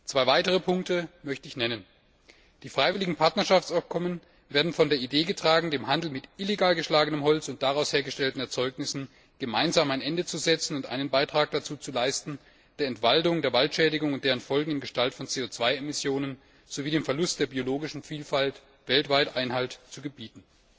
Zwei weitere Punkte möchte ich nennen Die freiwilligen Partnerschaftsabkommen werden von der Idee getragen, dem Handel mit illegal geschlagenem Holz und daraus hergestellten Erzeugnissen gemeinsam ein Ende zu setzen und einen Beitrag dazu zu leisten, der Entwaldung, der Waldschädigung und deren Folgen in Gestalt von CO 2 Emissionen sowie dem Verlust der biologischen Vielfalt weltweit Einhalt zu gebieten.